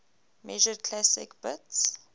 measured classical bits